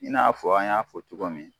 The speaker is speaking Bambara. I n'a fɔ an y'a fɔ cogo min.